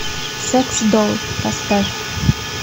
секс долл поставь